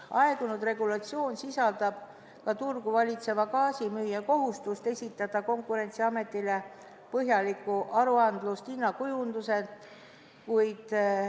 Aegunud regulatsioon sisaldab ka turgu valitseva gaasimüüja kohustust esitada Konkurentsiametile põhjalik aruandlus hinnakujunduse kohta.